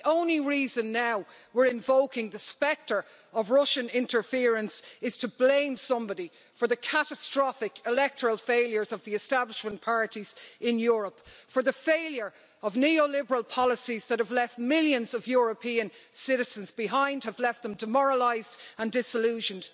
And the only reason we're now invoking the spectre of Russian interference is to blame somebody for the catastrophic electoral failures of the establishment parties in Europe and the failure of neoliberal policies that have left millions of European citizens behind, have left them demoralised and disillusioned.